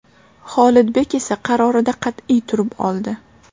Xolidbek esa qarorida qat’iy turib oldi.